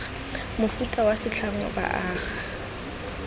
mofuta wa setlhangwa ba aga